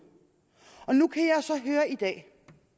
af